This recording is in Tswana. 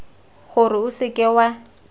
gore o se ke wa